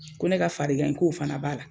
Ko ne ka farigan in k'o fana b'a la.